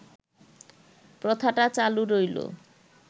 প্রথাটা চালু রইল